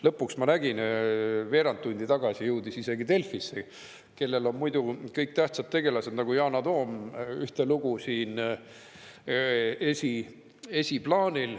Lõpuks, ma nägin, veerand tundi tagasi jõudis see isegi Delfisse, kellel on muidu sellised tähtsad tegelased nagu Jana Toom ühtelugu esiplaanil.